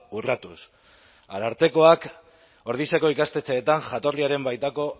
urratuz arartekoak ordiziako ikastetxeetan jatorriaren baitako